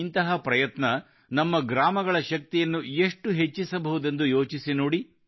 ಇಂತಹ ಪ್ರಯತ್ನ ನಮ್ಮ ಗ್ರಾಮಗಳ ಶಕ್ತಿಯನ್ನು ಎಷ್ಟು ಹೆಚ್ಚಿಸಬಹುದೆಂದು ಯೋಚಿಸಿ ನೋಡಿ